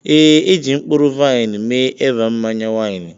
ee, e ji mkpụrụ vaịn mee Eva mmanya waini.